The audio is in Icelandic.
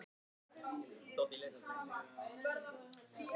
Síðan var okkur vísað inn til hans.